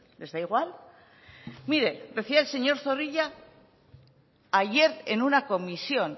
les da igual mire decía el señor zorrilla ayer en una comisión